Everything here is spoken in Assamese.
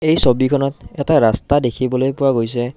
এই ছবিখনত এটা ৰাস্তা দেখিবলৈ পোৱা গৈছে।